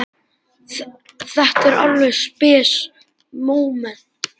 Þetta var alveg spes móment.